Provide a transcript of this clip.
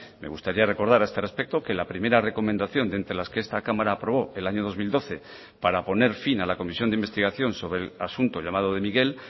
me gustaría recordar a este respecto que la primera recomendación de entre las que esta cámara aprobó el año dos mil doce para poner fin a la comisión de investigación sobre el asunto llamado de miguel